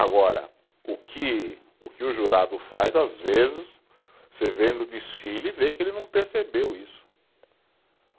Agora, o que, o que jurado faz, às vezes, você vendo o desfile e vê que ele não percebeu isso.